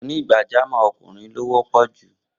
Onígbàjámọ́ ọkùnrin ló wọ́pọ̀ jù